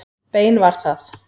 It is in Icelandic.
Bein var það.